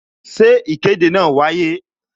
Ṣé ìkéde náà wáyé?